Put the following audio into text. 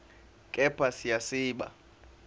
kepha siya siba